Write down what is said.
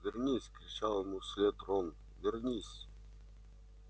вернись кричал ему вслед рон вернись